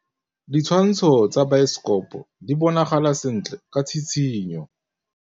Ditshwantshô tsa biosekopo di bonagala sentle ka tshitshinyô.